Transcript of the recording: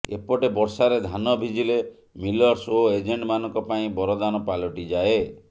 ଏପଟେ ବର୍ଷାରେ ଧାନ ଭିଜିଲେ ମିଲର୍ସ ଓ ଏଜେଣ୍ଟମାନଙ୍କ ପାଇଁ ବରଦାନ ପାଲଟିଯାଏ